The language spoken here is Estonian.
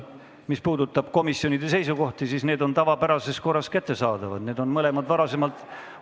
Mis puudutab komisjonide seisukohti, siis need on tavapärases korras kättesaadavad, need mõlemad on varasemalt ...